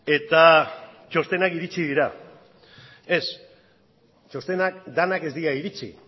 eta txostenak iritsi dira ez txostenak denak ez dira iritsi